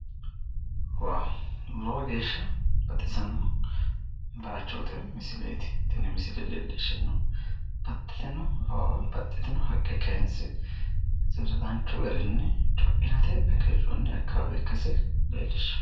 Lowo geeshsha baxisanno bayiichooti woy misileeti tini misile leellishannohu baxxitino awawa bqxxitino haqqe kaanse danchu garinni co'inate agarroonniha ikkase leellishshanno.